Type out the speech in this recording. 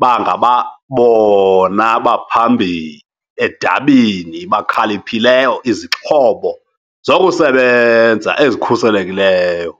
bangabona baphambili edabini bakhaliphileyo izixhobo zokusebenza ezikhuselekileyo.